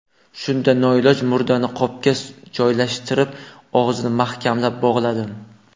Shunda noiloj murdani qopga joylashtirib, og‘zini mahkamlab bog‘ladim.